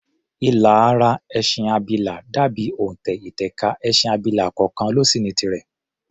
Ilà ara ẹṣin abilà dà bí òntẹ̀ ìtẹ̀ka, ẹṣin abilà kọọkàn ló sì ní tirẹ̀.